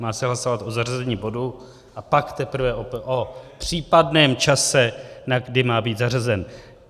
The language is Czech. Má se hlasovat o zařazení bodu a pak teprve o případném čase, na kdy má být zařazen.